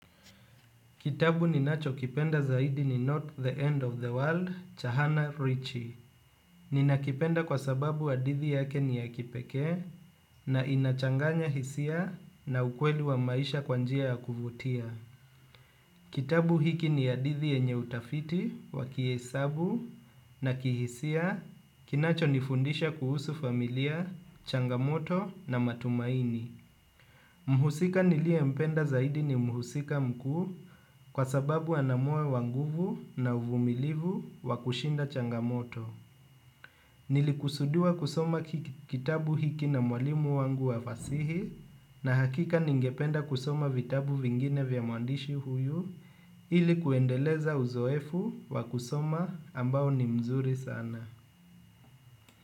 Kitabu ninachokipenda zaidi ni Not the End of the World, Cha hana Richie. Ninakipenda kwa sababu hadithi yake ni ya kipekee na inachanganya hisia na ukweli wa maisha kwa njia ya kuvutia. Kitabu hiki ni hadithi yenye utafiti, wakihesabu na kihisia, kinacho nifundisha kuhusu familia, changamoto na matumaini. Mhusika niliye mpenda zaidi ni mhusika mkuu kwa sababu ana moyo wa nguvu na uvumilivu wakushinda changamoto. Nilikusudua kusoma kitabu hiki na mwalimu wangu wafasihi na hakika ningependa kusoma vitabu vingine vya muandishi huyu ilikuendeleza uzoefu wa kusoma ambao ni mzuri sana.